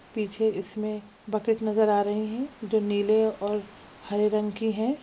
पीछे इसमे एक बकेट नजर आ रही है जो नीले और हरे रंग की है।